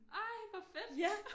Ej hvor fedt